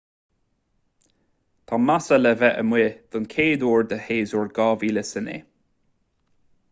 tá massa le bheith amuigh den chuid eile de shéasúr 2009